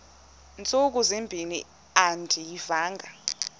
ntsuku zimbin andiyivanga